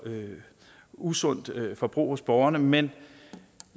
usundt forbrug hos borgerne men